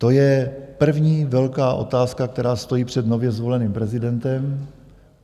To je první velká otázka, která stojí před nově zvoleným prezidentem.